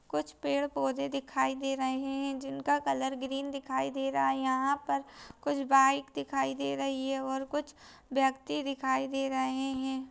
कुछ पेड़ पोधे दिखाई दे रहे हैं जिन का कलर ग्रीन दिखाई दे रहा हे यहाँ पर कुछ बाइक दिखाई दे रही हे ओर कुछ व्यक्ति दिखाई दे रहे हैं।